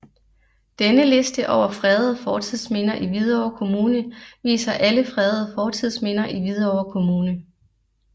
Denne liste over fredede fortidsminder i Hvidovre Kommune viser alle fredede fortidsminder i Hvidovre Kommune